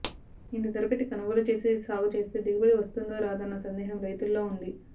ఇంత ధర పెట్టి కొనుగోలు చేసి సాగుచేస్తే దిగుబడి వస్తుందో రాదోనన్న సందేహం రైతుల్లో ఉంది